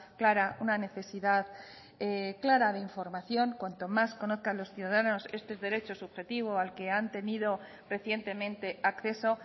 clara una necesidad clara de información cuanto más conozcan los ciudadanos este derecho subjetivo al que han tenido recientemente acceso